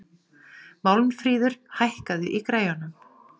Málmfríður, hækkaðu í græjunum.